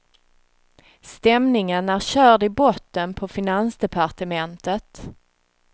Stämningen är körd i botten på finansdepartementet.